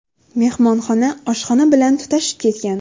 Mehmonxona oshxona bilan tutashib ketgan.